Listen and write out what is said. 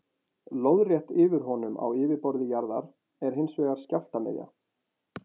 Lóðrétt yfir honum á yfirborði jarðar er hins vegar skjálftamiðja.